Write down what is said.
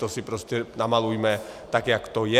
To si prostě namalujme tak, jak to je.